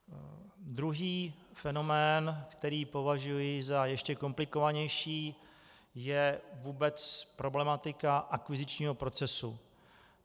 Druhý fenomén, který považuji za ještě komplikovanější, je vůbec problematika akvizičního procesu.